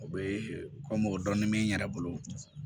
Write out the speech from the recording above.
O bɛ komu dɔɔnin mɛ n yɛrɛ bolo